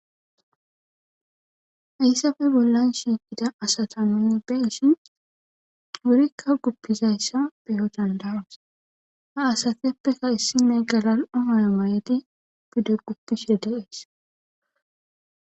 Hayisape bollan shiqida asata nuni be'ishin wurika gupidayisa be'o danida'os ha asatupeka issnoy gala'o mayo mayidi pude gupishe de'es